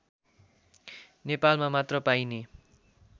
नेपालमा मात्र पाइने